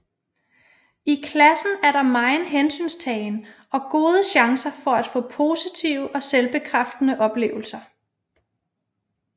I klassen er der megen hensyntagen og gode chancer for at få positive og selvbekræftende oplevelser